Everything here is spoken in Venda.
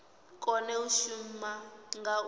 kone u shuma nga u